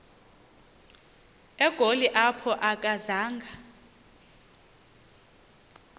egoli apho akazanga